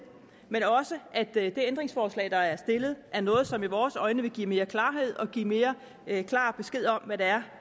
men også at det ændringsforslag der er stillet er noget som i vores øjne vil give mere klarhed og give mere klar besked om hvad det er